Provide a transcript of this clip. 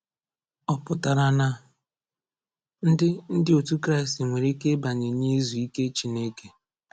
Ọ pụtara na ndị ndị otu Kraịst nwere ike ịbanye n’izu ike Chineke?